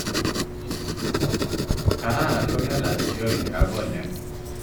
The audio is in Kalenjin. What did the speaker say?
Kararn ko kelach kioinik ak konyek.